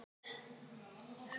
Slökkvistarf enn í gangi